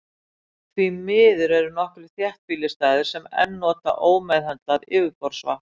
Því miður eru nokkrir þéttbýlisstaðir sem enn nota ómeðhöndlað yfirborðsvatn.